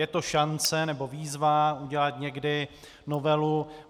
Je to šance nebo výzva udělat někdy novelu.